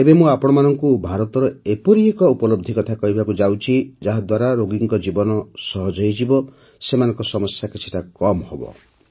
ଏବେ ମୁଁ ଆପଣଙ୍କୁ ଭାରତର ଏପରି ଏକ ଉପଲବ୍ଧି କଥା କହିବାକୁ ଯାଉଛି ଯାହାଦ୍ୱାରା ରୋଗୀଙ୍କର ଜୀବନ ସହଜ ହୋଇଯିବ ସେମାନଙ୍କ ସମସ୍ୟା କିଛିଟା କମ୍ ହେବ